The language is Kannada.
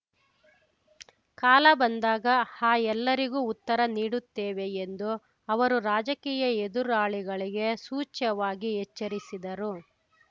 ಕಾಲ ಬಂದಾಗ ಆ ಎಲ್ಲರಿಗೂ ಉತ್ತರ ನೀಡುತ್ತೇವೆ ಎಂದು ಅವರು ರಾಜಕೀಯ ಎದುರಾಳಿಗಳಿಗೆ ಸೂಚ್ಯವಾಗಿ ಎಚ್ಚರಿಸಿದರು